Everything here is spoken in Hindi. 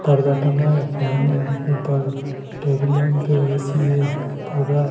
पर्दा टंगा है फैन है ऊपर टेबल लैंप है ऐ_सी है पर्दा--